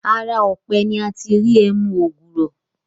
Ara ọ̀pẹ ni a ti ń ri ẹmu ògbùrọ̀